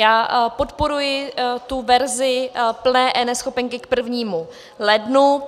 Já podporuji tu verzi plné eNeschopenky k 1. lednu.